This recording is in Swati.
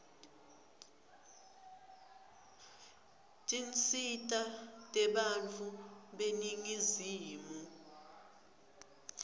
tinsita tebantfu beningizimu